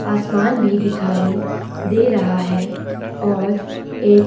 आसमान भी दिखाई दे रहा है और एक --